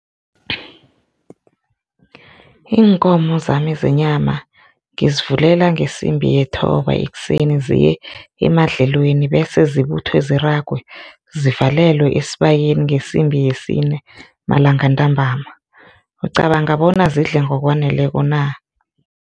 Iinkomo zami zenyama ngizivulela ngesimbi yethoba ekuseni ziye emadlelweni bese zibuthwe ziragwe zivalelwe esibayeni ngesimbi yesine malangantambama. Ucabanga bona zidla ngokwaneleko na?